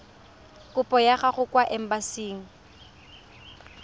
kopo ya gago kwa embasing